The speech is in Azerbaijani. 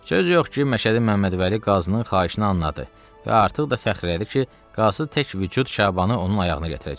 Söz yox ki, Məşədi Məmməd Vəli qazının xahişini anladı və artıq da fəxr elədi ki, qazı tək vücud Şabanı onun ayağına gətirəcək.